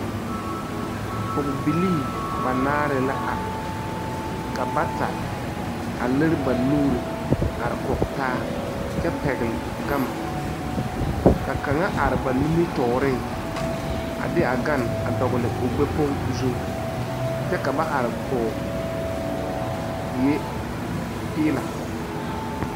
Pɔgɔ bilii banaare la are. Ka bata a lire ba nuure are kɔg taa kyɛ pɛgle gama. Ka kanga are ba nimitooreŋ a de a ganne a dogle o gbɛ kpong zuŋ. Kyɛ ka ba are kɔɔ die piila.